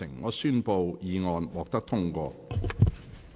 我宣布議案獲得通過。